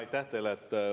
Aitäh teile!